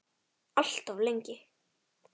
Alltof lengi.